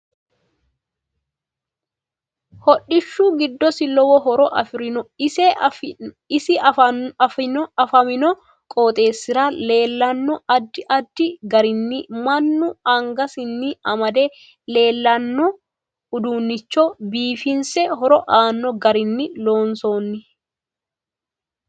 Hodhishu giddosi lowo horo afirinno ise afamanno qooxeesira leelanno addi addi garinni mannu angassanni amade leelanno uduunicho biifinse horo aano garinni loonsooni